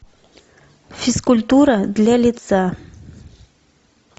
физкультура для лица